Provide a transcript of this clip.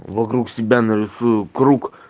вокруг себя нарисую круг